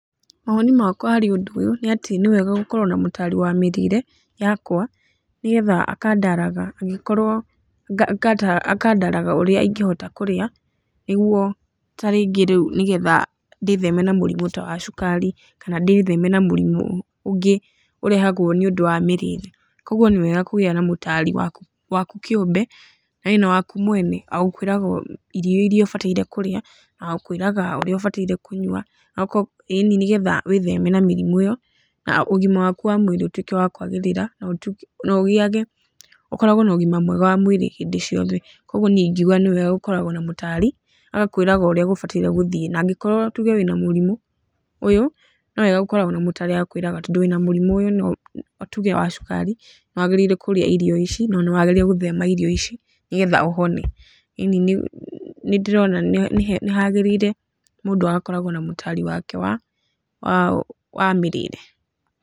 Mawoni makwa harĩ ũndũ ũyũ nĩatĩ nĩwega gũkorwo na mũtari wa mĩrĩre yakwa, nĩgetha akandaraga angĩkorwo nga nga akandaraga ũrĩa ingĩhota kũrĩa, nĩguo tarĩngĩ rĩũ nĩgetha ndĩtheme na mũrimũ ta wa cukari kana ndĩtheme na mũrimũ ũngĩ ũrehagwo nĩũndũ wa mĩrĩre. Koguo nĩwega kũgĩa na mũtari waku waku kĩũmbe ĩ na waku mwene, agakwĩraga irio iria ũbataire kũrĩa, na wagũkwĩraga ũrĩa ũbataire kũnyua, noko yĩni nĩgetha wĩtheme na mĩrimũ ĩyo na ũgima waku wa mwĩrĩ ũtuike wa kwagĩrĩra, na ũgĩage ũkoragwo na ũgima mwega wa mwĩrĩ hĩndĩ ciothe. Koguo niĩ ingiuga nĩwega gũkoragwwo na mũtari agakwĩraga ũrĩa gũbatairie gũthiĩ. Nangĩkorwo tuge wĩna mũrimũ ũyũ nĩwega gũkoragwo na mũtari agakwĩraga tondũ wĩna mũrimũ ũyũ no tuge wa cukari nĩwagĩrĩire kũrĩa irio ici na wagĩrĩire gũthema irio ici nĩgetha ũhone. Ĩni nĩndĩrona nĩ nĩ he nĩhagĩrĩire mũndũ akoragwo na mũtari wake wa wa wa mĩrĩĩre.